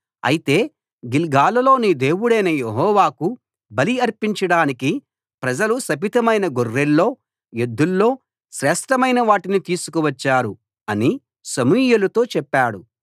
అయితే గిల్గాలులో నీ దేవుడైన యెహోవాకు బలి అర్పించడానికి ప్రజలు శపితమైన గొర్రెల్లో ఎద్దుల్లో శ్రేష్ఠమైనవాటిని తీసుకువచ్చారు అని సమూయేలుతో చెప్పాడు